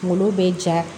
Kunkolo bɛ ja